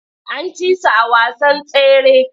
An ci su a wasan tsere.